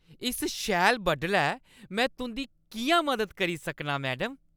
इस शैल बडलै में तुंʼदी किʼयां मदद करी सकनां, मैडम?